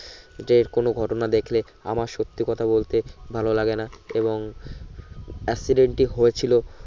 যে কোন ঘটনা দেখলে আমার সত্যি কথা বলতে ভালো লাগলে না এবং accident টি হয়েছিলো